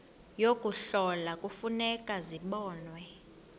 yokuhlola kufuneka zibonwe